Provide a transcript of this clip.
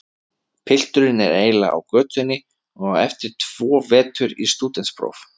Pilturinn er eiginlega á götunni og á eftir tvo vetur í stúdentspróf.